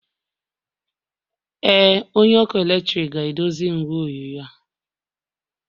Ee, onye ọkụ eletrik ga-edozi igwe onyonyo ahụ.